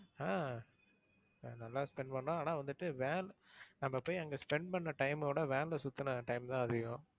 ஆஹ் நல்லா spend பண்ணோம். ஆனா வந்துட்டு van நம்ம போய் அங்க spend பண்ண time அ விட, van ல சுத்துன time தான் அதிகம்.